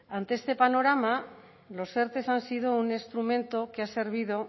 ante este panorama los erte han sido un instrumento que ha servido